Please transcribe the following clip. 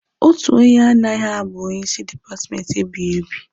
Otu onye anaghị abụ onye isi dipatmenti ebighiebi